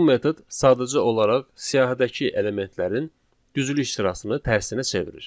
Bu metod sadəcə olaraq siyahdakı elementlərin düzülüş sırasını tərsinə çevirir.